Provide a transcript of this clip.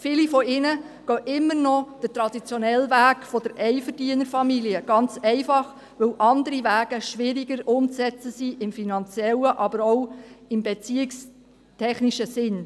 Viele von ihnen gehen immer noch den traditionellen Weg der Einverdienerfamilie, ganz einfach, weil andere Wege schwieriger umzusetzen sind, im finanziellen, aber auch im beziehungstechnischen Sinn.